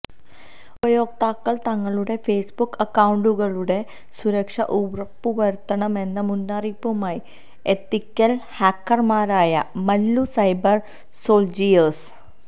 ഉപയോക്താക്കള് തങ്ങളുടെ ഫെയ്സ്ബുക്ക് അക്കൌണ്ടുകളുടെ സുരക്ഷ ഉറപ്പുവരുത്തണമെന്ന മുന്നറിയിപ്പുമായി എത്തിക്കല് ഹാക്കര്മാരായ മല്ലു സൈബര് സോള്ജിയേഴ്സ്